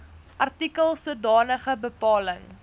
artikels sodanige bepaling